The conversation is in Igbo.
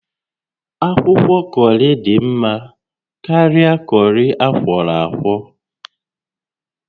Akwụkwọ kọrị dị mma karịa kọrị akwọrọ akwọ